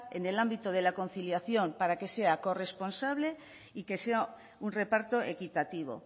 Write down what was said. en el ámbito de la conciliación para que sea corresponsable y que sea un reparto equitativo